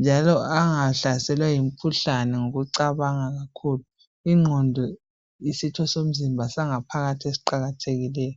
njalo angahlaselwa yimikhuhlani ngokucanga kakhulu. Ingqondo yisitho somzimba sangaphakathi esiqakathekileyo.